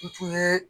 N tun ye